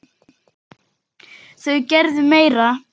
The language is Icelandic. Þau gerðu meira.